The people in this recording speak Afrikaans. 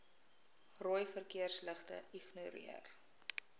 rooi verkeersligte ignoreer